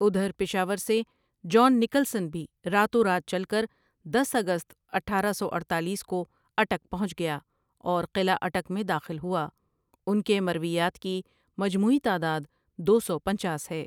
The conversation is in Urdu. ادھر پشاور سے جان نکلسن بھی راتوں رات چل کر دس اگست اٹھارہ سو اڈتالیس کو اٹک پہنچ گیا اور قلعہ اٹک میں داخل ہوا ان کے مرویات کی مجموعی تعداد دو سو پنچاس ہے ۔